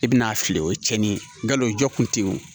I bɛna a fili o ye cɛnni ye nkalon jɔ kun tɛ yen o